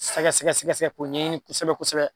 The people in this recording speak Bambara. Sɛgɛsɛgɛsɛgɛsɛgɛ ko ɲɛɲini kosɛbɛ kosɛbɛ